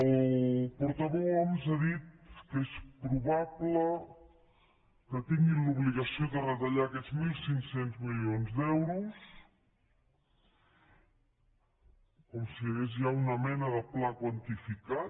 el portaveu homs ha dit que és probable que tinguin l’obligació de retallar aquests mil cinc cents milions d’euros com si hi hagués ja una mena de pla quantificat